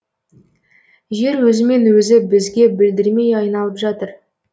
жер өзімен өзі бізге білдірмей айналып жатыр